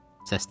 Səsləndim.